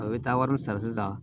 A bɛ taa wari min sara sisan